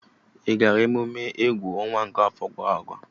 Ị gara mmemme egwu ọnwa nke afọ gara aga?